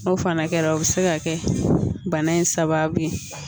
N'o fana kɛra o bɛ se ka kɛ bana in sababu ye